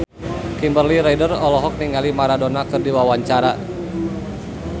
Kimberly Ryder olohok ningali Maradona keur diwawancara